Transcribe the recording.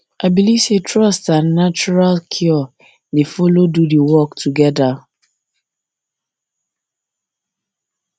i believe say trust and natural and natural cure dey follow do the work together